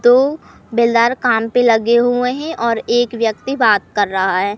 दो बेलदार काम पे लगे हुए हैं और एक व्यक्ति बात कर रहा है।